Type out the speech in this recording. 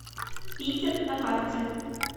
питер на карте